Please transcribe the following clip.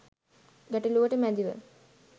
ගැටළුවට මැදිව